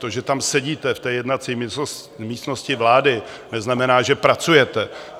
To, že tam sedíte v té jednací místnosti vlády, neznamená, že pracujete.